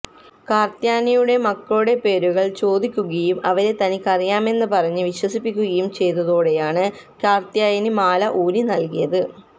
കാര്ത്ത്യയനിയുടെ മക്കളുടെ പേരുകള് ചോദിക്കുകയും അവരെ തനിക്കറിയാമെന്ന് പറഞ്ഞു വിശ്വസിപ്പിക്കുകയും ചെയ്തതോടെയാണ് കാര്ത്ത്യായനി മാല ഊരി നല്കിയത്